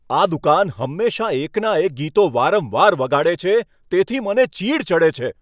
આ દુકાન હંમેશાં એકના એક ગીતો વારંવાર વગાડે છે, તેથી મને ચીડ ચડે છે.